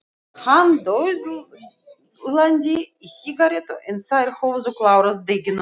Hann dauðlangaði í sígarettu en þær höfðu klárast deginum áður.